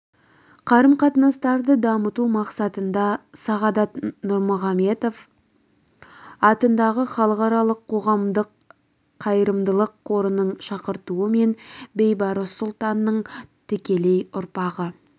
қарым-қатынастарды дамыту мақсатында сағадат нұрмағамбетов атындағы халықаралық қоғамдық қайырымдылық қорының шақыртуымен бейбарыс сұлтанның тікелей ұрпағы